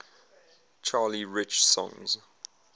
charlie rich songs